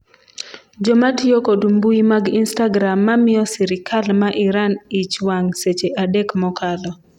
jomatiyo kod mbui mag istagram ma miyo sirikal ma Iran ich wang' seche adek mokalo